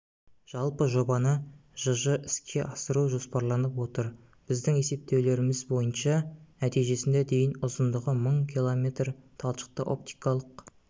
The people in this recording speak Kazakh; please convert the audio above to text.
жалпы жобаны жж іске асыру жоспарланып отыр біздің есептеулеріміз бойынша нәтижесінде дейін ұзындығы мың км талшықты-оптикалық